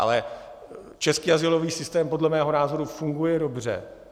Ale český azylový systém podle mého názoru funguje dobře.